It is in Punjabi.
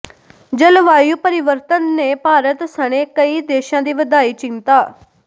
ਜਲਵਾਯੂ ਪਰਿਵਰਤਨ ਨੇ ਭਾਰਤ ਸਣੇ ਕਈ ਦੇਸ਼ਾਂ ਦੀ ਵਧਾਈ ਚਿੰਤਾ